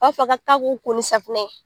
A b'a fɔ ka ka b' e ko ni safinɛ ye.